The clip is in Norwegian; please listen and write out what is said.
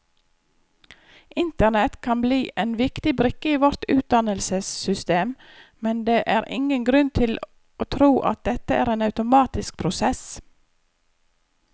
Internett kan bli en viktig brikke i vårt utdannelsessystem, men det er ingen grunn til å tro at dette er en automatisk prosess.